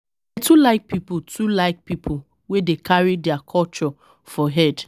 I too like pipo too like pipo wey dey carry their culture for head.